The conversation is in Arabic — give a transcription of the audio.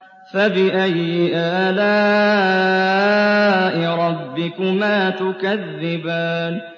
فَبِأَيِّ آلَاءِ رَبِّكُمَا تُكَذِّبَانِ